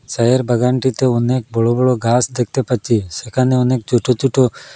চায়ের বাগানটিতে অনেক বড়ো বড়ো ঘাস দেখতে পাচ্ছি সেখানে অনেক ছোট ছোট--